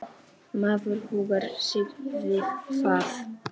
Maður huggar sig við það.